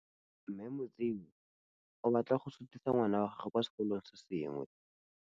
Mme Motsei o batla go sutisa ngwana wa gagwe kwa sekolong se sengwe.